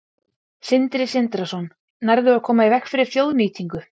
Sindri Sindrason: Nærðu að koma í veg fyrir þjóðnýtingu?